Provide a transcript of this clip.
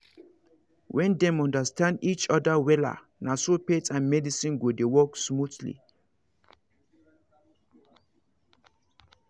when dem understand each other wella naso faith and medicine go dey work smoothly